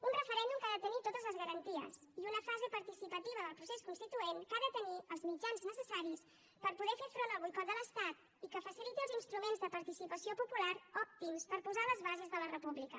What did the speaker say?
un referèndum que ha de tenir totes les garanties i una fase participativa del procés constituent que ha de tenir els mitjans necessaris per poder fer front al boicot de l’estat i que faciliti els instruments de participació popular òptims per posar les bases de la república